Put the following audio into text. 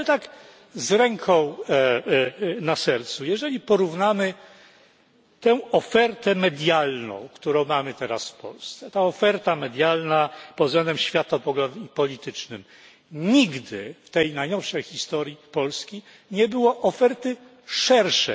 Ale tak z ręką na sercu, jeżeli porównamy tę ofertę medialną, którą mamy teraz w Polsce, ta oferta medialna pod względem światopoglądowym i politycznym nigdy w najnowszej historii Polski nie była szersza.